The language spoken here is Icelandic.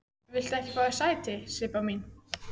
Viltu ekki fá þér sæti, Sibba mín?